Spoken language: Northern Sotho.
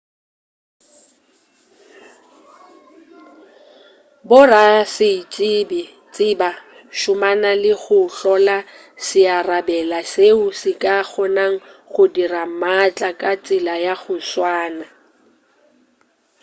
borasaentsheba šomana le go hlola searabela seo se ka kgonago go dira maatla ka tsela ya go tswana